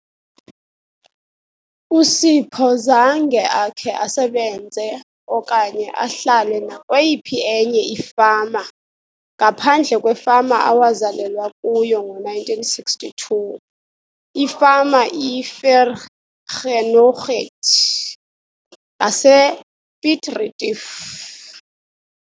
USipho zange akhe asebenze okanye ahlale nakweyiphi enye ifama ngaphandle kwefama awazalelwa kuyo ngo-1962 - ifama iVergenoegheid ngasePiet Retief.